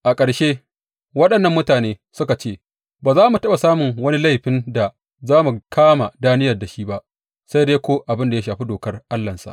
A ƙarshe waɗannan mutane suka ce; Ba za mu taɓa samun wani laifin da za mu kama Daniyel da shi ba, sai dai ko abin ya shafi dokar Allahnsa.